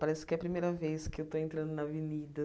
Parece que é a primeira vez que eu estou entrando na avenida.